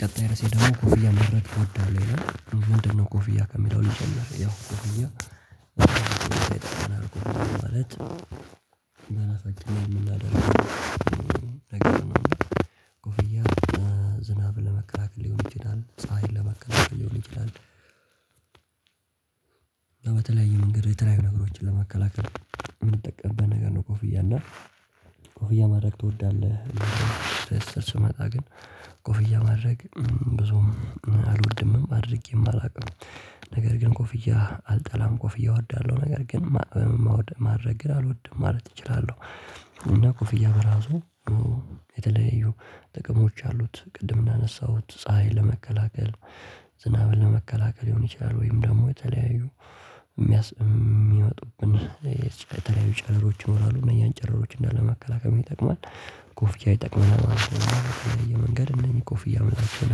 ቀጣይ ራሴ ደግሞ ኮፍያ መረድ እወዳለሁ ይላል ምንድነው? ኮፍያ ከሚለው ይጀምራል ያው ኮፍያ ቆይቷል እንደው አላሳደርግም እናደርግ ነው። ኮፍያ ዝናብ ለመከራከል ሊሆን ይችላል ፀሀይን ለመከራከል ሊሆን ይችላል። አና በተለያየ መንገዶች የተለያዩ ነገሮችን ለመከላከል የምንጠቀምበት ነገር ነው። ኮፍያ እና ኮፍያ ማድረግ ትወዳለህ? ስር ስመጣ ግን ኮፍያ ማድረግ ብዙም አልወድምም አድርጌም አላውቅም። ነገር ግን ኮፍያ አልጠላም ኮፍያ እወዳለሁ ነገር ግን ማድረግ ግን አልወድም ማለት እችላለሁ። እና ኮፍያ በራሱ የተለያዩ ጥቅሞች አሉት። ቅድም እናነሳሁት ፀሀይን ለመከላከል ዝናብን ለመከላከል ሊሆን ይችላል። ወይም ደግሞ የተለያዩ የሚያስ የሚያወጡብን የተለያዩ ጨረሮች ይኖራሉ እነኛን ጨረሮች እንዳለ መከላከም ይጠቅማል ኮፍያ ይጠቅማል ማለት ነው። የተለያየ መንገድ እነኚህ ኮፍያ የምታደርጉት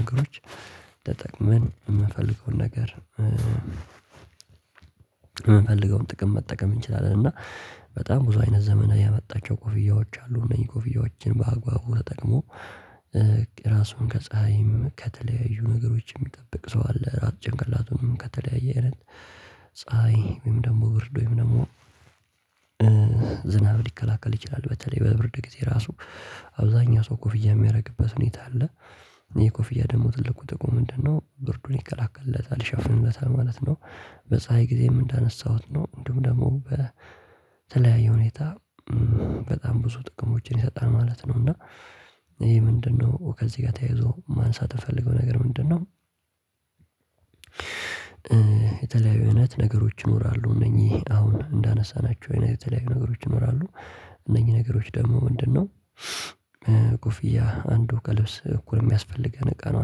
ነገሮች ተጠቅመን የምፈልገውን ነገር። የምፈልገውን ጥቅም መጠቀም እንችላለን። እና በጣም ብዙ አይነት ዘመን ያመጣቸው ኮፍያዎች አሉ። እነዚህ ኮፍያዎችን በአግባቡ ተጠቅሞ ራሱን ከፀሀይም ከተለያዩ ነገሮች የሚጠብቅ ሰው አለ። ራስ ጭንቅላቱንም ከተለያየ አይነት ፀሀይ ወይም ደግሞ ብርድ ወይም ደግሞ ዝናብ ሊከላከል ይችላል። በተለይ በብርድ ጊዜ ራሱ አብዛኛው ሰው ኮፍያ የሚያደርግበት ሁኔታ አለ። ይሄ ኮፍያ ደግሞ ትልቁ ጥቁም ምንድነው? ብርዱን ይከላከለታል ይሸፍንለታል ማለት ነው። በፀሀይ ጊዜም እንዳነሳሁት ነው እንዲሁም ደግሞ በተለያየ ሁኔታ በጣም ብዙ ጥቅሞችን ይሰጣል ማለት ነው። እና ይሄ ምንድነው ከዚህ ጋር ተያይዞ ማንሳት የፈለገው ነገር ምንድነው? የተለያዩ አይነት ነገሮች ይኖራሉ እነዚህ አሁን እንዳነሳናቸው የተለያዩ ነገሮች ይኖራሉ። እነኚህ ነገሮች ደግሞ ምንድን ነው? ኮፍያ አንዱ ከልብስ እኩል የሚያስፈልገን እቃ ነው።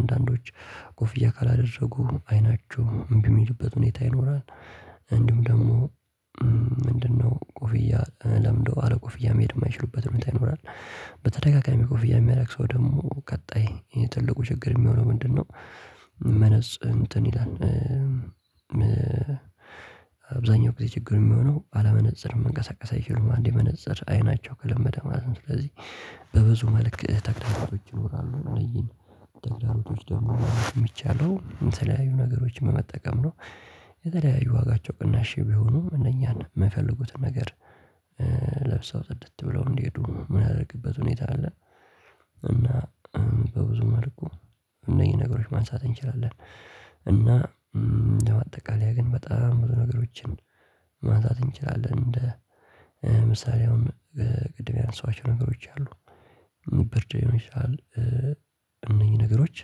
አንዳንዶች ኮፍያ ካላደረጉ አይናቸው እምቢ የሚሉበት ሁኔታ ይኖራል። እንዲሁም ደግሞ ምንድነው ኮፍያ ለምዶ አለ ኮፍያ መሄድ የማይችሉበት መጣ ይኖራል። በተደጋጋሚ ኮፍያ የሚያረክሰው ደግሞ ቀጣይ የትልቁ ችግር የሚሆነው ምንድነው? መነጽ እንትን ይላል። አብዛኛው ጊዜ ችግር የሚሆነው አለመነፅር መንቀሳቀስ አይችሉም አንድ መነፀር አይናቸው ከለመደ ማለት ነው። ስለዚህ በብዙ መልክ ተግዳሮቶች ይኖራሉ እነዚህን ተግዳሮቶች ደግሞ ማወቅ ሚቻለው የምትለያዩ ነገሮችን መጠቀም ነው። የተለያዩ ዋጋቸው ቅናሽ ቢሆኑም እነኛን የማይፈልጉት ነገር። ለብሰው ጥድት ብለው እንዲሄዱ የምናደርግበት ሁኔታ አለ። እና በብዙ መልኩ እነዚህ ነገሮች ማንሳት እንችላለን። እና እንደው አጠቃላይ ግን በጣም ብዙ ነገሮችን ማንሳት እንችላለን። እንደ ምሳሌ አሁን ቅድም ያነሳኋአቸው ነገሮች አሉ። ብርድ ሊሆን ይችላል። እነኚህ ነገሮች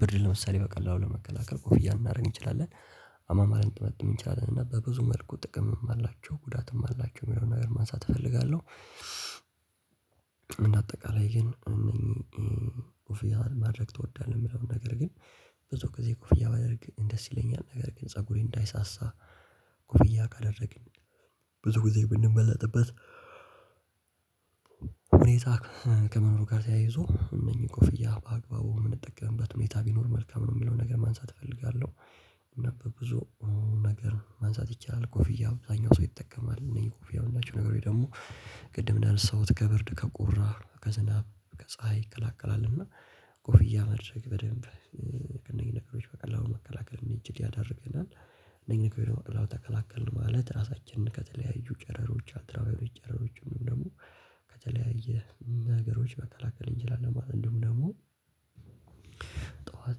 ብርድ ለምሳሌ በቀላሉ ለመከላከል ኮፍያ እናደርግ እንችላለን። አማማርን ጥበጥብ የሚቻልን እና በብዙ መልኩ ጥቅምም አላቸው ጉዳትም አላቸው የሆነ ነገር ማንሳት እፈልጋለሁ። እንደ አጠቃላይ ግን ኮፍያ ማድረግ ትወዳለህ? የምለው ነገር ግን ብዙ ጊዜ ኩፍያ ባደርግ እንደስ ይለኛል ነገር ግን ፀጉሬ እንዳይሳሳ ኩፍያ ካደረግን ብዙ ጊዜ ብንበለጥበት ሁኔታ ከመኖር ጋር ተያይዞ እነኚህ ኮፍያ በአግባቡ የምንጠቀምበት ሁኔታ ቢኖር መልካም ነው። የምለውን ነገር ማንሳት እፈልጋለሁ። ብዙ ነገር ማንሳት ይቻላል። ኮፍያ አብዛኛው ሰው ይጠቀማል እነዚህ ኮፍያ የምናቸው ነገሮች ደግሞ ቅድም እንዳነሳሁት ከብርድ ከቁራር ከዝናብ ከፀሀይ ይከላከላል። እና ኩፍያ መድረክ በደንብ እነዚህን ነገሮች በቀላሉ መከላከል እንድንችል ያደርገናል። እነኚህን ነገሮች በቀላሉ ተከላከልን ማለት ራሳችንን ከተለያዩ ጨረሮች አልትራዋይሮች ጨረሮች ምንም ደግሞ ከተለያየ ነገሮች መከላከል እንችላለን። ማለት እንደውም ደግሞ ጠዋት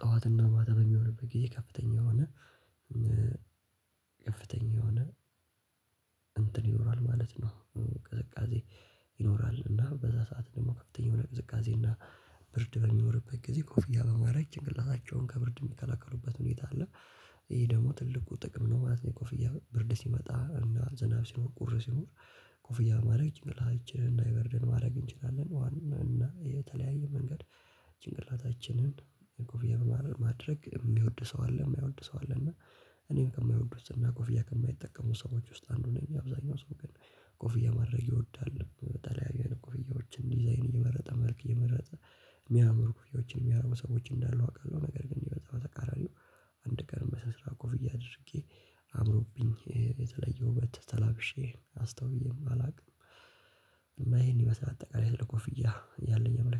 ጠዋትና ማታ የሚሆንበት ጊዜ ከፍተኛ የሆነ ከፍተኛ የሆነ እንትን ይኖራል ማለት ነው። ቅዝቃዜ ይኖራል። እና በዛ ሰዓት ደግሞ ከፍተኛ የሆነ ቅዝቃዜ እና ብርድ በሚኖርበት ጊዜ ኮፍያ በማረግ ጭንቅላታቸውን ከብርድ የሚከለክሉበት ሁኔታ አለ። ይሄ ደግሞ ትልቁ ጥቅም ነው ማለት ነው። የቆፍያ ብርድ ሲመጣ እና ዝናብ ሲኖር ቁር ሲኖር ኮፍያ ማድረግ ጭንቅላታችንን እንዳይበርደን ማድረግ እንችላለን። ዋና እና የተለያየ መንገድ ጭንቅላታችንን ኮፍያ በማድረግ የሚወድ ሰው አለ የማይወድ ሰው አለ። እና እኔም ከማይወዱት ኮፍያ ከማይጠቀሙ ሰዎች ውስጥ አንዱ ነኝ። አብዛኛው ሰው ግን ኮፍያ ማድረግ ይወዳል። በተለያዩ አይነት ኩፍያዎችን ዲዛይን እየመረጠ መልክ እየመረጠ የሚያምር ኩፍያዎችን የሚያምር ሰዎች እንዳሉ አውቃለሁ። ነገር ግን ይሄ በጣም ተቃራኒው አንድ ቀን በስነስርዓት ኮፍያ አድርጌ አምሮብኝ የተለየ ውበት ተላብሼ አስተውዬም አላውቅም። ይሄን ይመስላል አጠቃላይ ለኮፍያ ያለኝ አመለካከት